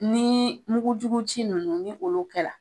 Ni mukujugu ci nunnu ni olu kɛ la